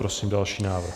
Prosím další návrh.